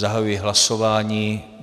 Zahajuji hlasování.